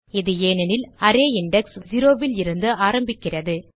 இது ஏனெனில் array index 0லிருந்து ஆரம்பிக்கிறது